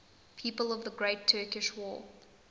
people of the great turkish war